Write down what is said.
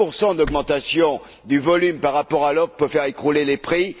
1 d'augmentation du volume par rapport à l'offre peut faire écrouler les prix.